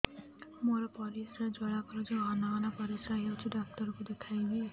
ମୋର ପରିଶ୍ରା ଜ୍ୱାଳା କରୁଛି ଘନ ଘନ ପରିଶ୍ରା ହେଉଛି ଡକ୍ଟର କୁ ଦେଖାଇବି